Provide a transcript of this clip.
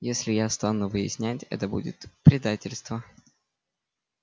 если я стану выяснять это будет предательство